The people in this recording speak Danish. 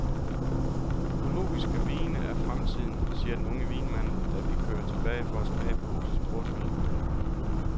Økologiske vine er fremtiden, siger den unge vinmand, da vi kører tilbage for at smage på husets portvine.